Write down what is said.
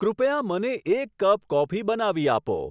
કૃપયા મને એક કપ કોફી બનાવી આપો